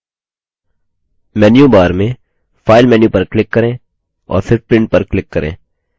menu bar में file menu पर click करें और फिर printपर click करें